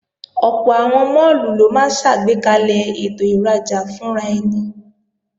Ọ̀pọ̀ àwọn máàlù ló máa ṣàgbékalẹ̀ ètò ìrajà fúnraẹni